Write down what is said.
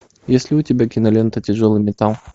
есть ли у тебя кинолента тяжелый металл